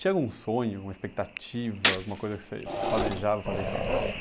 Tinha algum sonho, uma expectativa, alguma coisa que você planejava fazer em São Paulo?